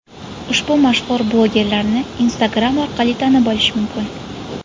Ushbu mashhur blogerlarni Instagram orqali tanib olish mumkin.